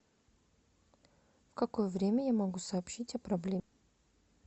в какое время я могу сообщить о проблеме